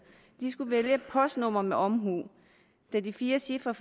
de skal vælge postnummer med omhu da de fire cifre